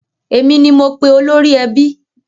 Èmi ni mo pe olórí ẹbí.